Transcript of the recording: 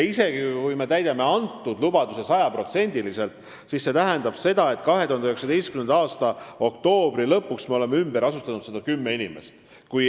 Isegi kui me täidame selle lubaduse sajaprotsendiliselt, siis see tähendab, et 2019. aasta oktoobri lõpuks me oleme ümber asustanud 110 inimest.